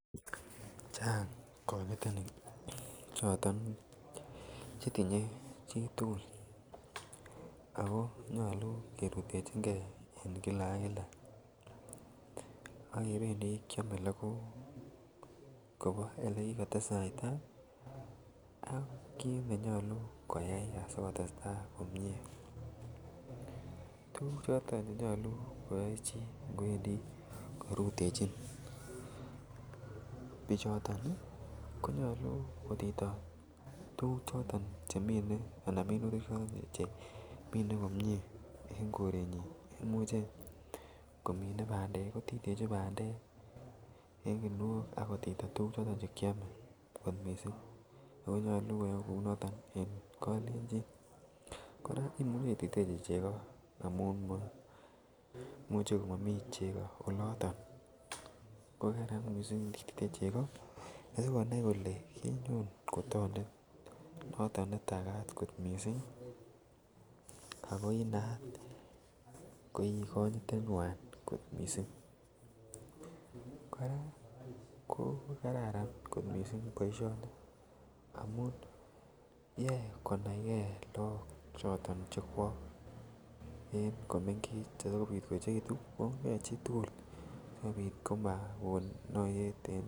Chang konyitenik choto chetinye chitukul ako nyolu kerutechingee en kila ak kila ak kependii kiome lokook Kobo ole kikotesaita ak kit nenyolu koyai asikotestai komie . Tukuk choton chetoku koyee chii ngwendii korutechin bichoton konyolu kotito tukuk choton chemine ana minutik choton chemine komie ek korenyin. Imuche komine pandek kotitechi pandek en kinwok ak kotito tukuk choton chekiome kot missing ako nyolu koyoe kou noton en kolenjin. Koraa imuchii ititechi cheko amun mo muche komomii cheko oloton ko Karan missing nititechi cheko sikonai kole kenyo ko tondet noton netakat kot missing ako inaat ko ikonyitenywan kot missing. Koraa ko kararan kot missing boishoni amun yoe konaigee Lok choton chekwok en komengech ya kopit koyechekitun koyoe chitukul sikpot komokon noyet en.